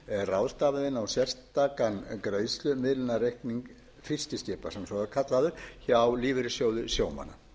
á sérstakan greiðslumiðlunarreikning fiskiskipa sem svo er kallaður hjá lífeyrissjóði sjómanna